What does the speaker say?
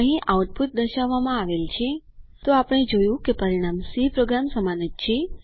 અહીં આઉટપુટ દર્શાવવામાં આવેલ છે તો આપણે જોયું કે પરિણામ સી પ્રોગ્રામ સમાન જ છે